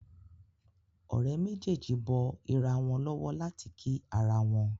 Òré méjèjì bó ira wón lówó láti kí àrà wón.